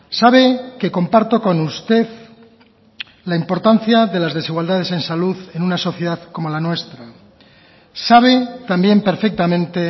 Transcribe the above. sabe que comparto con usted la importancia de las desigualdades en salud en una sociedad como la nuestra sabe también perfectamente